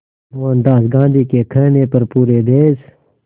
मोहनदास गांधी के कहने पर पूरे देश